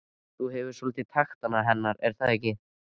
Gunnar: Þú hefur nú svolítið taktana hennar er það ekki?